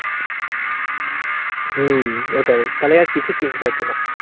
হম ওটাই. তাহলে আর কিছু কিনতে হতো না.